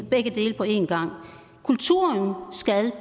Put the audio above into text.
begge dele på en gang kulturen skal